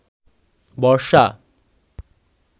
বর্ষা